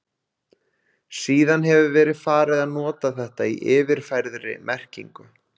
Síðan hefur verið farið að nota þetta í yfirfærðri merkingu.